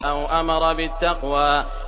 أَوْ أَمَرَ بِالتَّقْوَىٰ